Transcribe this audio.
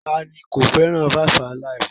Ta ni kò fẹ́ràn 5-alive?